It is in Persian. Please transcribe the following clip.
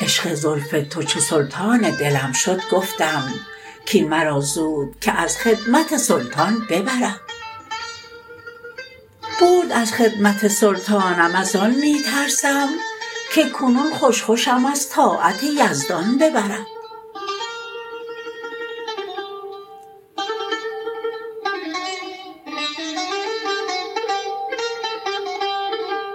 عشق زلف تو چو سلطان دلم شد گفتم کین مرا زود که از خدمت سلطان ببرد برد از خدمت سلطانم از آن می ترسم که کنون خوش خوشم از طاعت یزدان ببرد